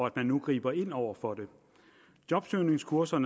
at man nu griber ind over for det jobsøgningskurser